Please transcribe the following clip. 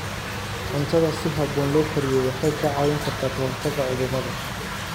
Cuntada si habboon loo kariyey waxay kaa caawin kartaa ka hortagga cudurrada.